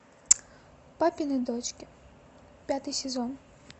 папины дочки пятый сезон